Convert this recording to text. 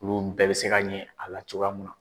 Olu bɛɛ bɛ se ka ɲɛ a la cogoya min na.